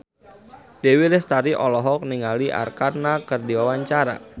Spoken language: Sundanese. Dewi Lestari olohok ningali Arkarna keur diwawancara